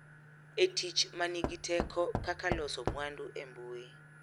E tich ma nigi teko kaka loso mwandu e mbui.